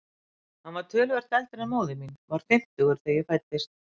Hann var töluvert eldri en móðir mín, var fimmtugur þegar ég fæddist.